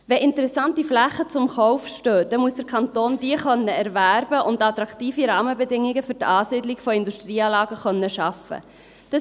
Wenn interessante Flächen zum Kauf stehen, muss der Kanton diese erwerben und attraktive Rahmenbedingungen für die Ansiedlung von Industrieanlagen schaffen können.